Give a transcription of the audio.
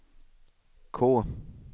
K